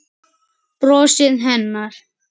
Brosið hennar.